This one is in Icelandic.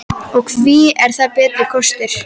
Og hví er það betri kostur?